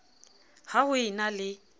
ha ho e na le